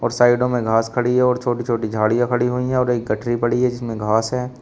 और साइडो में घास खड़ी है और छोटी-छोटी झाड़ियां खड़ी हुई हैं और एक गठरी पड़ी है जिसमें घास है।